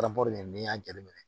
n'i y'a jateminɛ